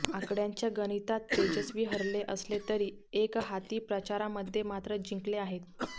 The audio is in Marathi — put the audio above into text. आकड्यांच्या गणितात तेजस्वी हरले असले तरी एकहाती प्रचारामध्ये मात्र जिंकले आहेत